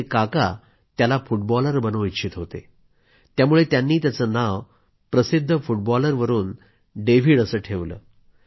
त्याचे काका त्याला फुटबॉलर बनवू इच्छित होते त्यामुळे त्यांनी त्याचं नाव प्रसिद्ध फुटबॉलरवरून डेव्हिड ठेवलं